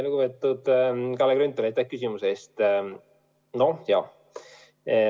Lugupeetud Kalle Grünthal, aitäh küsimuse eest!